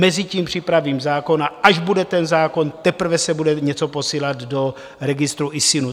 Mezitím připravím zákon, a až bude ten zákon, teprve se bude něco posílat do registru ISIN.